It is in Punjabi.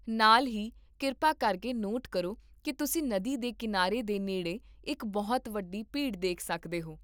ਨਾਲ ਹੀ, ਕਿਰਪਾ ਕਰਕੇ ਨੋਟ ਕਰੋ ਕੀ ਤੁਸੀਂ ਨਦੀ ਦੇ ਕੀਨਾਰੇ ਦੇ ਨੇੜੇ ਇੱਕ ਬਹੁਤ ਵੱਡੀ ਭੀੜ ਦੇਖ ਸਕਦੇ ਹੋ